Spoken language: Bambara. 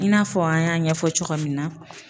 I n'a fɔ an y'a ɲɛfɔ cogo min na.